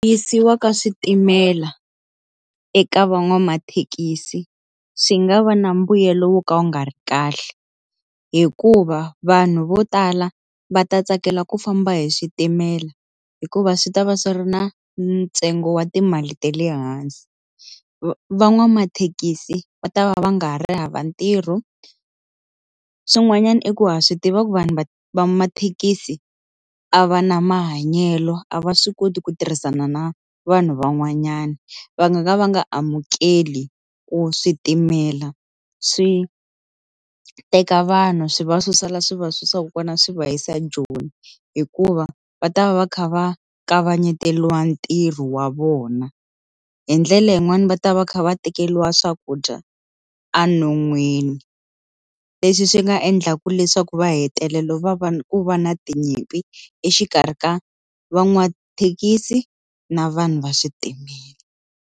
Yisiwa ka switimela eka van'wamathekisi swi nga va na mbuyelo wo ka wu nga ri kahle hikuva vanhu vo tala va ta tsakela ku famba hi switimela hikuva swi ta va swi ri na ntsengo wa timali ta le hansi va van'wamathekisi va ta va va nga ri hava ntirho swin'wanyana i ku ha swi tiva ku vanhu va va mathekisi a va na mahanyelo a va swi koti ku tirhisana na vanhu van'wanyana va nga ka va nga amukeli ku switimela swi teka vanhu swi va susa la swi va susako kona swi va yisa ejoni hikuva va ta va va kha va kavanyetiwa ntirho wa vona hi ndlela yin'wani va ta va kha va tekeriwa swakudya enon'wini leswi swi nga endlaka leswaku va hetelela va va ku va na tinyimpi exikarhi ka van'wamathekisi na vanhu va switimela.